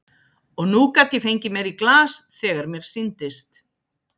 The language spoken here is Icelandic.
Og nú gat ég fengið mér í glas þegar mér sýndist.